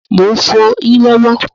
Mo ń fọ yín lọ́wọ́